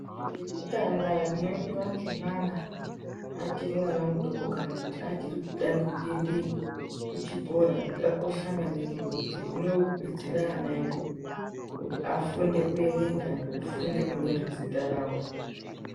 Iro rekutanga rinoendwa ngemwana achirimwana mudoko kuti achirikutanga kuende kuchikora rakakosha maningi ngekuti rinodetsera ana edu kuti afunde kuerenga nekufunde kunyore zita rawo.